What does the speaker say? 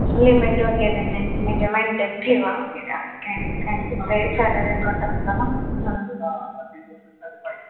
limit वैगरे नाही म्हणजे maintain ठेवावा वैगरे असं काही नाही कारण कि ते salary account असतं ना म्हणून